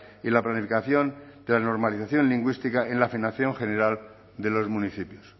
y la planificación la normalización lingüística en la financiación general de los municipios